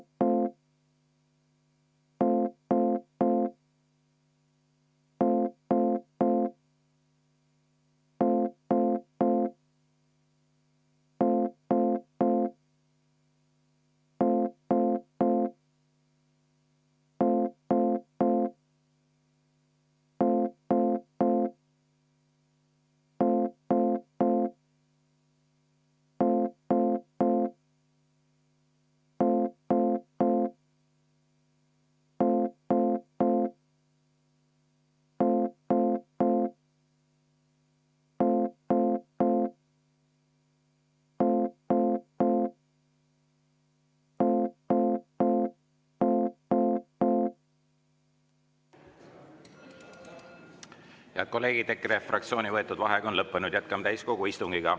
Head kolleegid, EKRE fraktsiooni võetud vaheaeg on lõppenud, jätkame täiskogu istungit.